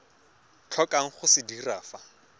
tlhokang go se dira fa